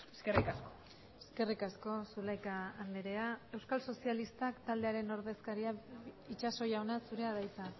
eskerrik asko eskerrik asko zulaika andrea euskal sozialistak taldearen ordezkaria itxaso jauna zurea da hitza